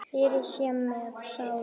Friður sé með sálu þinni.